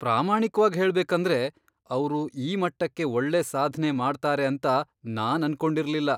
ಪ್ರಾಮಾಣಿಕ್ವಾಗ್ ಹೇಳ್ಬೇಕಂದ್ರೆ, ಅವ್ರು ಈ ಮಟ್ಟಕ್ಕೆ ಒಳ್ಳೆ ಸಾಧ್ನೆ ಮಾಡ್ತಾರೆ ಅಂತ ನಾನ್ ಅನ್ಕೊಂಡಿರ್ಲಿಲ್ಲ.